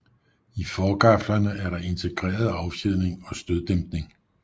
I forgaflerne er der integreret affjedring og støddæmpning